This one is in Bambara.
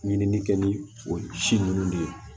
Ɲinini kɛ ni o ci ninnu de ye